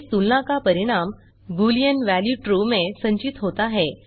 इस तुलना का परिणाम बूलियन वैल्यू ट्रू में संचित होता है